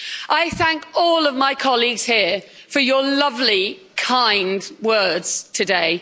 I thank all of my colleagues here for your lovely, kind words today.